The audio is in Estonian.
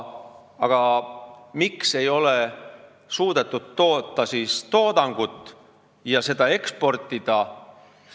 Aga miks ei ole siis suudetud toodangut toota ja seda eksportida?